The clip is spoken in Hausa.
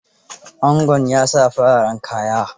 Angon ya sa fararen kaya.